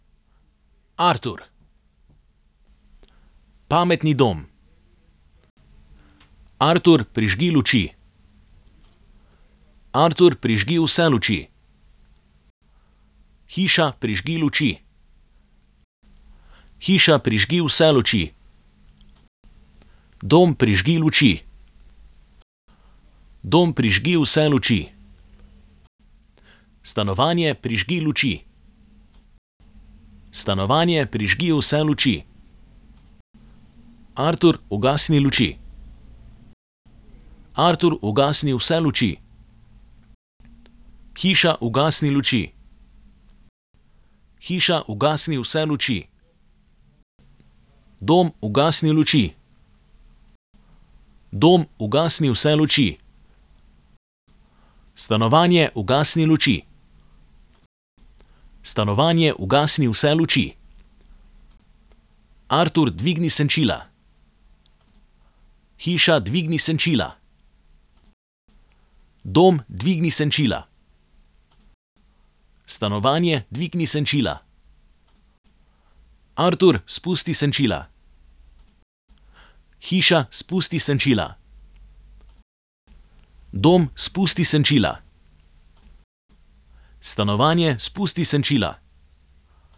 Artur. Pametni dom. Artur, prižgi luči. Artur, prižgi vse luči. Hiša, prižgi luči. Hiša, prižgi vse luči. Dom, prižgi luči. Dom, prižgi vse luči. Stanovanje, prižgi luči. Stanovanje, prižgi vse luči. Artur, ugasni luči. Artur, ugasni vse luči. Hiša, ugasni luči. Hiša, ugasni vse luči. Dom, ugasni luči. Dom, ugasni vse luči. Stanovanje, ugasni luči. Stanovanje, ugasni vse luči. Artur, dvigni senčila. Hiša, dvigni senčila. Dom, dvigni senčila. Stanovanje, dvigni senčila. Artur, spusti senčila. Hiša, spusti senčila. Dom, spusti senčila. Stanovanje, spusti senčila.